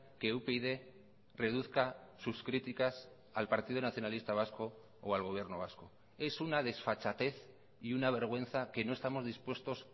que upyd reduzca sus críticas al partido nacionalista vasco o al gobierno vasco es una desfachatez y una vergüenza que no estamos dispuestos